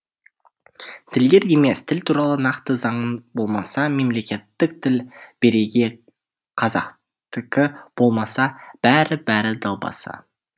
тілдер емес тіл туралы нақты заңың болмаса мемлекеттік тіл бірегей қазақтікі болмаса бәрі бәрі далбаса